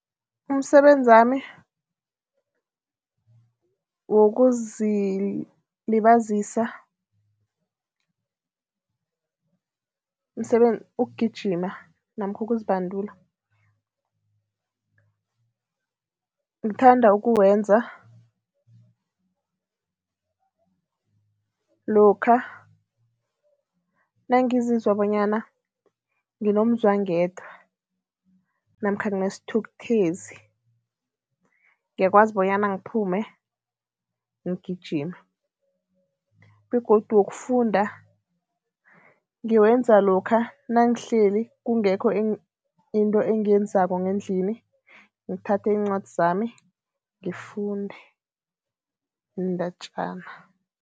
Umsebenzami wokuzilibazisa, ukugijima namkha ukuzibandula, ngithanda ukuwenza lokha nangizizwa bonyana nginomzwangedwa namkha nginesithukuthezi, ngiyakwazi bonyana ngiphume, ngigijime begodu wokufunda ngiwenza lokha nangihleli kungekho into engiyenzako ngendlini, ngithathe iincwadi zami ngifunde iindatjana.